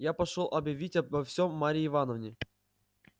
я пошёл объявить обо всем марье ивановне